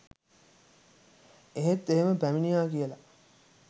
එහෙත් එහෙම පැමිණියා කියල